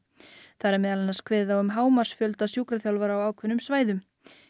þar er meðal annars kveðið á um hámarksfjölda sjúkraþjálfara á ákveðnum svæðum